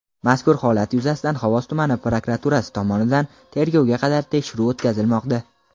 mazkur holat yuzasidan Xovos tumani prokuraturasi tomonidan tergovga qadar tekshiruv o‘tkazilmoqda.